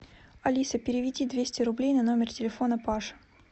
алиса переведи двести рублей на номер телефона паша